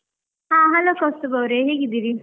ಹಾ hello ಕೌಸ್ತಬ್ ಅವ್ರೆ, ಹೇಗಿದ್ದೀರಿ?